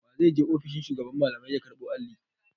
Wa zai je ofishin shugaban malamai ya karɓo Alli?